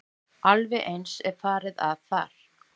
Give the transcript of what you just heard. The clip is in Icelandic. Alveg eins er farið að þar.